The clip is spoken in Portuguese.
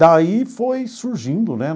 Daí foi surgindo, né?